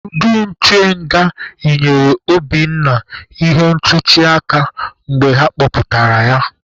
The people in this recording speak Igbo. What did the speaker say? Ndị nche nga yinyere Obinna ihe ntuchi aka mgbe ha kpọpụtara ya.